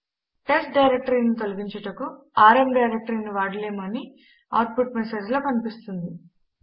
test dir ను తొలగించుటకు RM డైరెక్టరీను వాడలేము అని అవుట్ పుట్ మెసేజ్ లో కనిపిస్తుంది